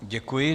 Děkuji.